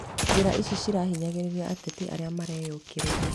Njĩra ici nĩciahinyagĩrĩria ateti arĩa mareyũkĩrĩria